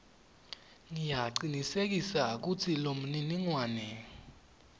ngiyacinisekisa kutsi lomniningwane